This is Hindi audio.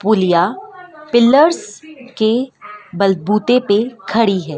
पुलिया पिलर्स के बलबूते पे खड़ी है।